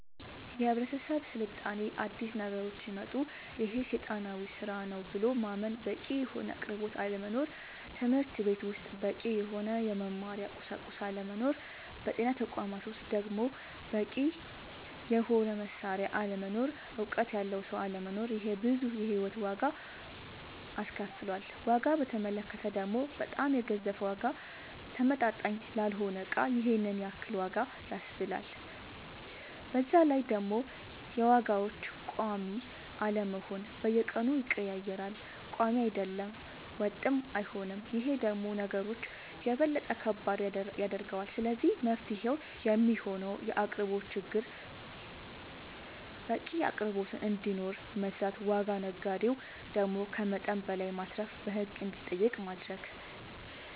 የህብረተሰብ ስልጣኔ አዲስ ነገሮች ሲመጣ ይሄ ሴጣናዊ ስራ ነው ብሎ ማመን በቂ የሆነ አቅርቦት አለመኖር ትምህርትቤት ውስጥ በቂ የሆነ የመማሪያ ቁሳቁስ አለመኖር በጤና ተቋማት ውስጥ ደሞ በቂ የሆነ መሳሪያ አለመኖር እውቀት ያለው ሰው አለመኖር ይሄ ብዙ የሂወት ዋጋ አስከፍሎል ዋጋ በተመለከተ ደሞ በጣም የገዘፈ ዋጋ ተመጣጣኝ ላልሆነ እቃ ይሄንን ያክል ዋጋ ያስብላል በዛላይ ደሞ የዋጋዎች ቆሚ አለመሆን በየቀኑ ይቀያየራል ቆሚ አይደለም ወጥም አይሆንም ይሄ ደሞ ነገሮች የበለጠ ከባድ ያደርገዋል ስለዚህ መፍትሄው የሚሆነው የአቅርቦት ችግርን በቂ አቅርቦት እንዲኖር መስራት ዋጋ ነጋዴው ደሞ ከመጠን በላይ ማትረፍን በህግ እንዲጠየቅ ማረግ